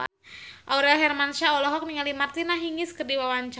Aurel Hermansyah olohok ningali Martina Hingis keur diwawancara